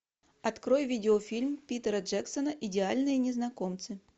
открой видеофильм питера джексона идеальные незнакомцы